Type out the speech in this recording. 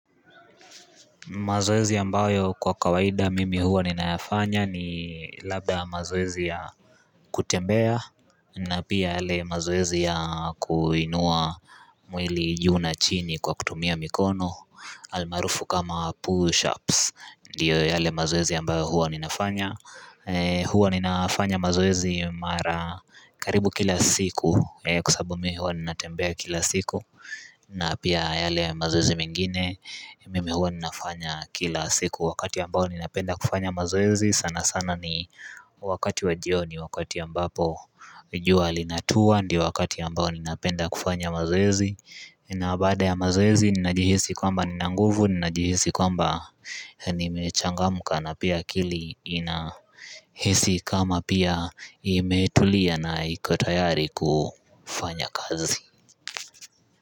Mazoezi ambayo kwa kawaida mimi huwa ninafanya ni labda mazoezi ya kutembea na pia yale mazoezi ya kuinua mwili juu na chini kwa kutumia mikono Almaarufu kama push ups ndiyo yale mazoezi ambayo huwa ninafanya huwa ninafanya mazoezi mara karibu kila siku kwa sababu mimi huwa ninatembea kila siku na pia yale mazoezi mengine mimi huwa ninafanya kila siku wakati ambao ninapenda kufanya mazoezi sana sana ni wakati wa jioni wakati ambapo jua linatua ndio wakati ambao ninapenda kufanya mazoezi na baada ya mazoezi ninajihisi kwamba nina nguvu ninajihisi kwamba nimechangamka na pia akili inahisi kama pia imetulia na iko tayari kufanya kazi.